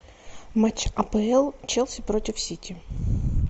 матч апл челси против сити